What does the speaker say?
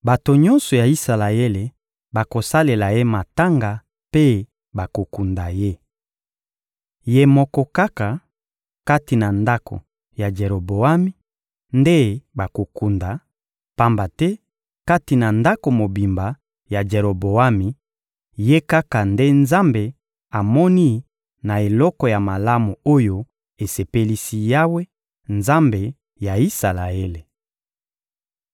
Bato nyonso ya Isalaele bakosalela ye matanga mpe bakokunda ye. Ye moko kaka, kati na ndako ya Jeroboami, nde bakokunda; pamba te kati na ndako mobimba ya Jeroboami, ye kaka nde Nzambe amoni na eloko ya malamu oyo esepelisi Yawe, Nzambe ya Isalaele.